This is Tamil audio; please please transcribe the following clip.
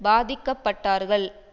பாதிக்கப்பட்டார்கள்